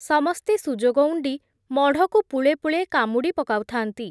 ସମସ୍ତେ ସୁଯୋଗ ଉଣ୍ଡି, ମଢ଼କୁ ପୁଳେ ପୁଳେ କାମୁଡ଼ି ପକାଉଥା’ନ୍ତି ।